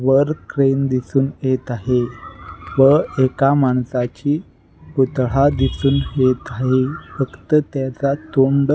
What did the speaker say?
वर ट्रेन दिसून येत आहे व एका माणसाचा पुतळा दिसून येत आहे. फक्त त्याचा तोंड --